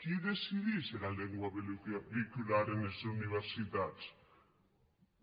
qui decidís era lengua veïculara enes universitats